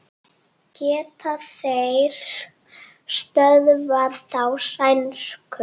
Geta þeir stöðvað þá sænsku?